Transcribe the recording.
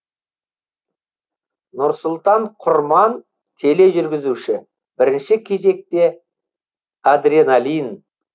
нұрсұлтан құрман тележүргізуші бірінші кезекте адреналин